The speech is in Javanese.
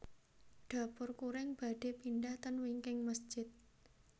Dapur Kuring badhe pindah ten wingking mesjid